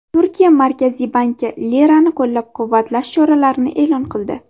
Turkiya Markaziy banki lirani qo‘llab-quvvatlash choralarini e’lon qildi.